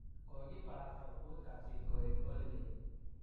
kokibarasta komut kasit koek holidei.